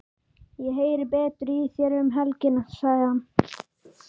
Ég heyri betur í þér um helgina, sagði hann.